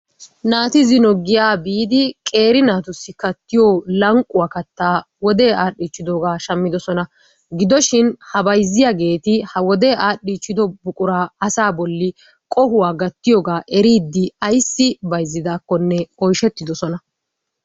Naati zino giyaa biidi qeeri naatussi kattiyo lanqquwa kattaa wodee adhichchidoogaa shammiddosona. Gidoshin ha bayzziyageeti ha wodee adhdhichchiddo buquraa asaa bolli qohuwa gattiyogaa eriiddi ayssi bayzziddaakkonne oyshshettiddosona.